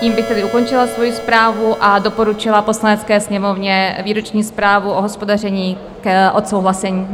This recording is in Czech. Tím bych tedy ukončila svoji zprávu a doporučila Poslanecké sněmovně výroční zprávu o hospodaření k odsouhlasení.